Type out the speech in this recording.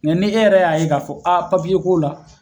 Mɛ ni e yɛrɛ y'a ye k'a fɔ a papiye ko la